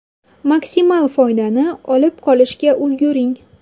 Maksimal foydani olib qolishga ulguring!